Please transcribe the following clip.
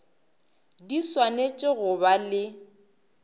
di swanetše go ba le